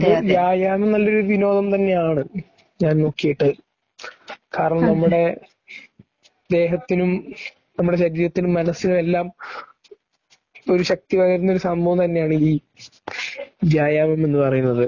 വ്യയാമം നല്ലൊരു വിനോദം തന്നെയാണ് ഞാൻ നോക്കിയിട്ട്. കാരണം നമ്മുടെ ദേഹത്തിനും നമ്മുടെ ശരീരത്തിനും മനസ്സിനുമെല്ലാം ഒരു ശക്തി തരുന്ന ഒരു സംഭവം തന്നെയാണ് ഈ വ്യായാമം എന്നുപറയുന്നത്